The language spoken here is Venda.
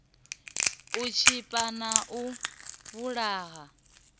u tshipa na u vhulaha